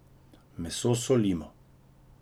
Meso solimo.